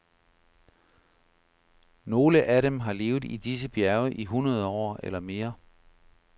Nogle af dem har levet i disse bjerge i hundrede år eller mere.